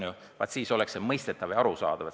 Kui nii, siis oleks muudatus mõistetav ja arusaadav.